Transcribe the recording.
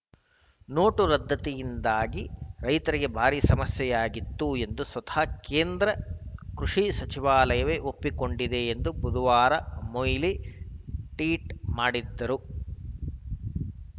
note ರದ್ದತಿಯಿಂದಾಗಿ ರೈತರಿಗೆ ಭಾರಿ ಸಮಸ್ಯೆಯಾಗಿತ್ತು ಎಂದು ಸ್ವತಃ ಕೇಂದ್ರ ಕೃಷಿ ಸಚಿವಾಲಯವೇ ಒಪ್ಪಿಕೊಂಡಿದೆ ಎಂದು ಬುಧವಾರ ಮೊಯ್ಲಿ ಟ್ಟೀಟ್‌ ಮಾಡಿದ್ದರು